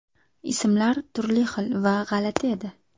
Ismlar turli xil va g‘alati edi.